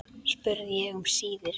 spurði ég um síðir.